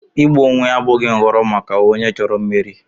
Igbu onwe ya abụghị nhọrọ maka onye chọrọ imeri.